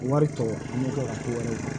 Wari tɔ an bɛ kɛ ka to ka